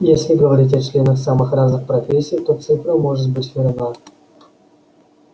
если говорить о членах самых разных профессий то цифра может быть верна